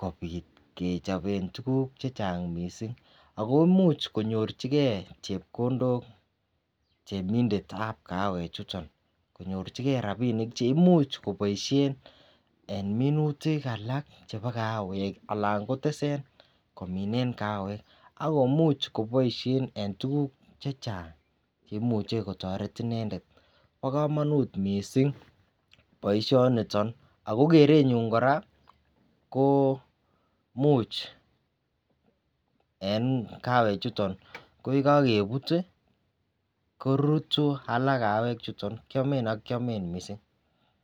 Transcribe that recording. kobit kechoben tukuk chechang missing ako imuch konyorchigee chepkondok temindetab kaawek chuton konyorchigee rabinik cheimuch koboishen en minutik alak chebo kaawek alan kotesen kominen kaawek akomuch koboishen en tukuk chechang cheimuche kotoret inendet. Bo komonut missing boishoniton ako kerenyun Koraa ko imuch en kawek chuton ko yekokebut tii korutu alak kawek chuton ko rutu ak kiome missing.